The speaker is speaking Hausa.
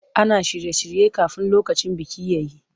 Ana shirye-shirye kafin lokacin biki ya yi.